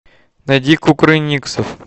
найди кукрыниксов